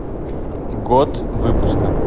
год выпуска